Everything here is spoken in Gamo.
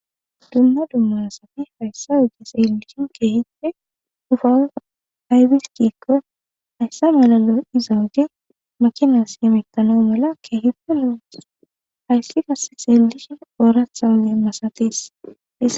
dumma dumma asati hayssa teelishe keehipe hufawu aybiskikko hayssa malalo izawage makinas yemetano mala keehiddelun hayssi kasexeelishin ooratha ole masatis